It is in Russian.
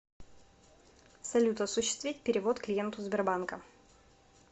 салют осуществить перевод клиенту сбербанка